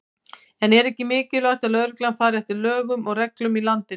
En er ekki mikilvægt að lögreglan fari eftir lögum og reglum í landinu?